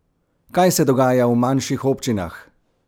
Kaj se dogaja v manjših občinah?